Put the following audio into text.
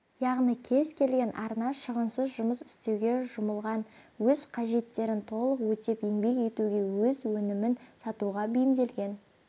яғни кез келген арна шығынсыз жұмыс істеуге жұмылған өз қажеттерін толық өтеп еңбек етуге өз өнімін сатуға бейімделген